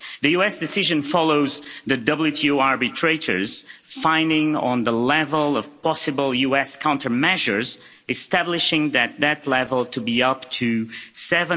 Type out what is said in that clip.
The US decision follows the WTO arbitrators finding on the level of possible US countermeasures, establishing that level to be up to USD